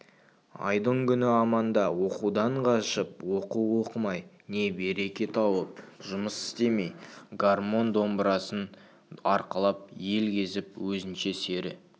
айдың-күні аманда оқудан қашып оқу оқымай не береке тауып жұмыс істемей гармонь-домбырасын арқалап ел кезіп өзінше сері